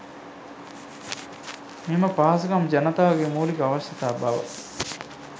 මෙම පහසුකම් ජනතාවගේ මූලික අවශ්‍යතා බව